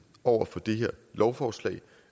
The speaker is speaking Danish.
over for det her lovforslag